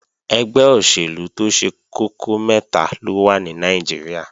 Ẹgbẹ́ òṣèlú tó ṣe kókó mẹ́ta ló wà ní Nàìjíríà